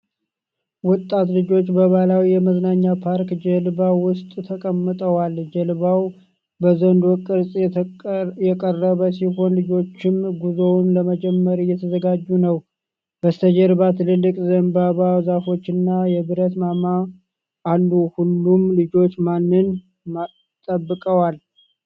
ወጣት ልጆች በባሕላዊ የመዝናኛ ፓርክ ጀልባ ውስጥ ተቀምጠዋል። ጀልባው በዘንዶ ቅርፅ የቀረበ ሲሆን፣ ልጆቹም ጉዞውን ለመጀመር እየተዘጋጁ ነው። በስተጀርባ ትላልቅ የዘንባባ ዛፎችና የብረት ማማ አሉ። ሁሉም ልጆች ማንን ጠብቀዋል?